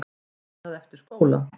Er það eftir skóla?